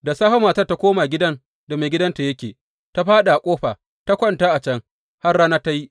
Da safe matar ta koma gidan da maigidanta yake, ta fāɗi a ƙofa ta kwanta a can har rana ta yi.